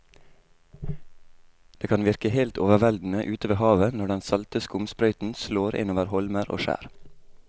Det kan virke helt overveldende ute ved havet når den salte skumsprøyten slår innover holmer og skjær.